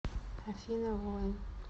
афина воин